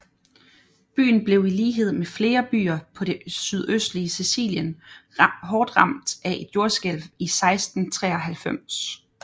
Byen blev i lighed med flere byer på det sydøstlige Sicilien hårdt ramt af et jordskælv i 1693